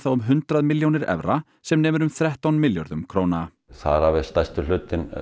um hundrað milljónir evra sem nemur um þrettán milljörðum króna þar af er stærstur hlutinn